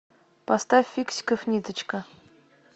поставь фиксиков ниточка